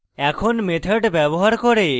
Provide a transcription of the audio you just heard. এখন